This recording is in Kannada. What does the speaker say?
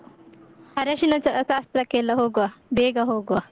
ಅರಶಿನ ಚಾ ಶಾಸ್ತ್ರಕ್ಕೆ ಎಲ್ಲ ಹೋಗುವ, ಬೇಗ ಹೋಗುವ.